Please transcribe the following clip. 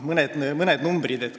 Mõned numbrid.